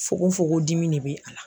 Fogon fogon dimi de bɛ a la.